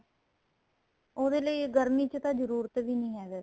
ਉਹਦੇ ਲਈ ਗਰਮੀ ਚ ਤਾਂ ਜਰੂਰਤ ਵੀ ਨਹੀਂ ਹੈ ਵੈਸੇ